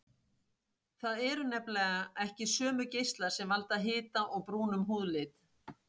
Það eru nefnilega ekki sömu geislar sem valda hita og brúnum húðlit.